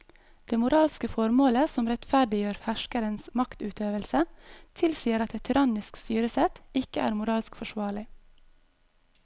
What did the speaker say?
Det moralske formålet som rettferdiggjør herskerens maktutøvelse tilsier at et tyrannisk styresett ikke er moralsk forsvarlig.